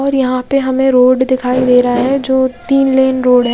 और यहाँ पे हमे रोड दिखाई दे रहा है जो तीन लेन रोड है।